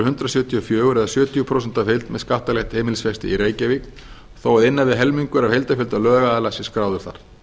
hundrað sjötíu og fjögur eða sjötíu prósent af heild með skattalegt heimilisfesti í reykjavík þó að innan við helmingur af heildarfjölda lögaðila sé skráður þar